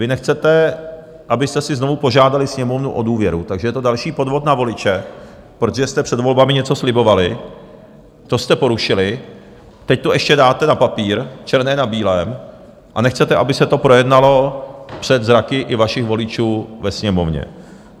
Vy nechcete, abyste si znovu požádali Sněmovnu o důvěru, takže je to další podvod na voliče, protože jste před volbami něco slibovali, to jste porušili, teď to ještě dáte na papír černé na bílém a nechcete, aby se to projednalo před zraky i vašich voličů ve Sněmovně.